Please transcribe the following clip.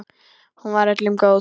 Hún var öllum góð.